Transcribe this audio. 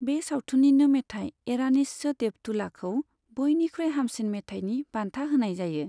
बे सावथुननिनो मेथाइ ऐरानीच्य देव तुलाखौ बयनिख्रुइ हामसिन मेथाइनि बान्था होनाय जायो।